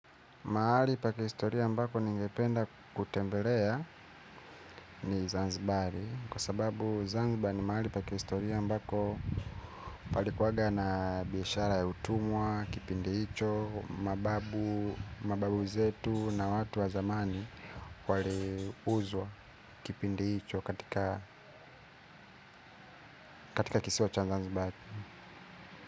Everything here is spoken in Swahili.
Mahali pa kihistoria ambako ningependa kutembelea ni Zanzibari, Kwa sababu Zanzibari ni mahali pa kihistoria ambako palikuwa na biashara ya utumwa, kipindi hicho, mababu zetu na watu wa zamani waliuzwa kipindi hicho katika kisiwa cha Zanzibari.